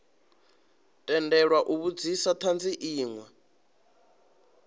tendelwa u vhudzisa thanzi inwe